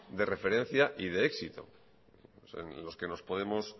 de referencia y de éxito en los que nos podemos